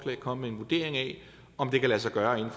vil komme med en vurdering af om det kan lade sig gøre inden